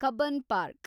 Cubbon park